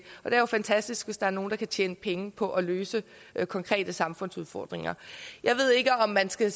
er jo fantastisk hvis der er nogle der kan tjene penge på at løse konkrete samfundsudfordringer jeg ved ikke om man skal